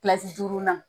duurunan